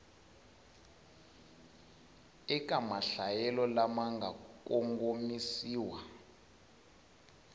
eka mahlayelo lama nga kongomisiwa